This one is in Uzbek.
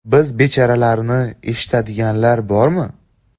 Biz bechoralarni eshitadiganlar bormi?